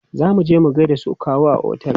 Zo muje mu gaida su kawu a otel!